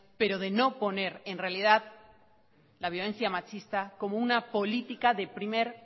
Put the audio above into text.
pero de no poner en realidad la violencia machista como una política de primer